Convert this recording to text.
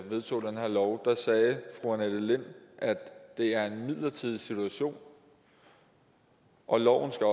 vedtog den her lov sagde fru annette lind at det er en midlertidig situation og loven skal